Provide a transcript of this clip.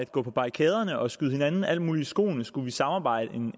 går på barrikaderne og skyder hinanden alt muligt i skoene så skulle samarbejde